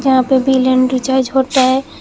यहां पे bill and recharge होता है।